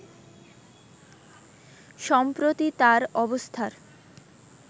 সম্প্রতি তার অবস্থার